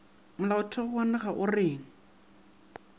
molaotheo wa naga o reng